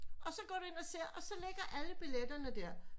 Og så går du ind og ser og så ligger alle billetterne der